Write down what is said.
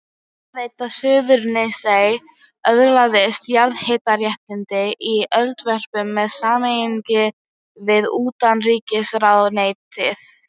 Hitaveita Suðurnesja öðlaðist jarðhitaréttindi í Eldvörpum með samningi við utanríkisráðuneytið.